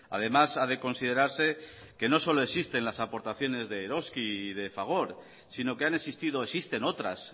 además ha de considerarse que no solo existen las aportaciones de eroski y de fagor sino que han existido existen otras